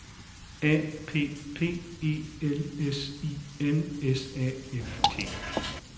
A P P E L S I N S A F T